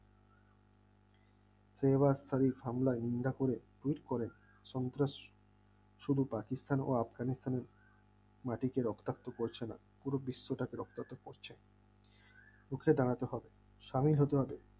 তৈবাস আলী হামলায় নিন্দা করে টুইট করেন্ সন্ত্রাস শুধু পাকিস্তানের ও আফগানিস্তানের মাটিতে রক্তাক্ত পড়ছে না পুরো বিশ্বটাকে রক্তাক্ত করছে রুখে দাঁড়াতে হবে সাহির হতে হবে